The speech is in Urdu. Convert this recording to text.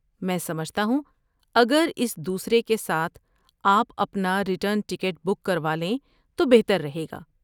میں سمجھتا ہوں اگر اس دوسرے کے ساتھ آپ اپنا ریٹرن ٹکٹ بک کروالیں تو بہتر رہے گا۔